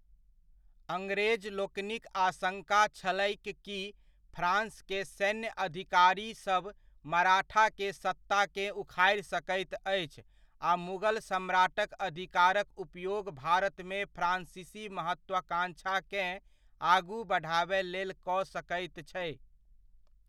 अंग्रेजलोकनिक आशङ्का छलैह कि फ्रांस के सैन्य अधिकारीसब मराठा के सत्ता केँ उखाड़ि सकैत अछि आ मुगल सम्राटक अधिकारक उपयोग भारतमे फ्रांसीसी महत्वाकांक्षा केँ आगू बढ़ाबय लेल कऽ सकैत छै।